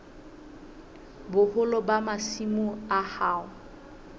boholo ba masimo a hao